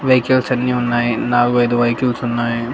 Vehicles అన్ని ఉన్నాయి నాలుగు ఐదు వెహికిల్స్ ఉన్నాయి.